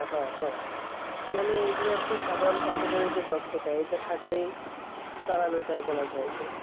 হ্যাঁ হ্যাঁ মানে এগুলো আর কি সাধারণ কম্পিউটারে যে দক্ষতা এটা থাকলেই যে চালানো যায় বলা যায়